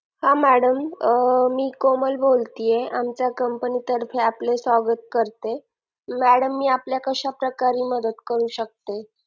हा madam मी कोमल बोलते आमच्या Company तर्फे आपले स्वागत करते madam मी आपल्या कशाप्रकारे मदत करू शकते